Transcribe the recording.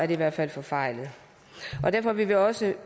det i hvert fald forfejlet derfor vil vi også